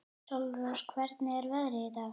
Sólrós, hvernig er veðrið í dag?